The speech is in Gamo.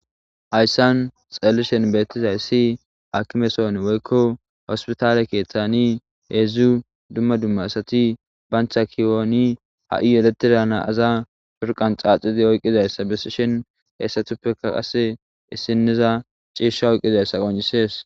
Hayssan xeelishen beettizayssi akimeson woykko hospitaale keeththani heedzdzu dumma dumma asati bancha kiwooni ha7i yeletira naaza shurqan caaxidi oyqqizayssa besishin heessatuppeka qasse issiniza ciisha oyqqizayssa qoncisees